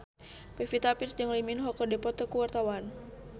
Pevita Pearce jeung Lee Min Ho keur dipoto ku wartawan